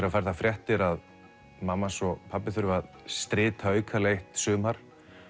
hann fær þær fréttir að mamma hans og pabbi þurfa að strita aukalega eitt sumar